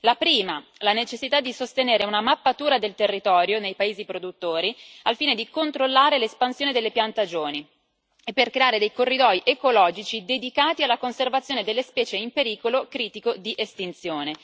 La prima la necessità di sostenere una mappatura del territorio nei paesi produttori, al fine di controllare l'espansione delle piantagioni e creare dei corridoi ecologici dedicati alla conservazione delle specie in pericolo critico di estinzione.